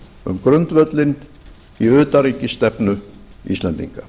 um grundvöllinn í utanríkisstefnu íslendinga